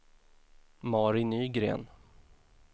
Mari Nygren